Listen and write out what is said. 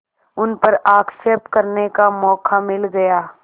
उन पर आक्षेप करने का मौका मिल गया